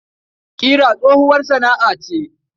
Ƙira tsohuwar sana'a ce.